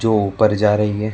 तो ऊपर जा रही है।